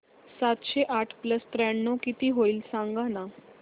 सातशे आठ प्लस त्र्याण्णव किती होईल सांगना